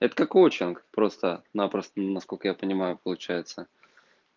это как отчинг просто-напросто насколько я понимаю получается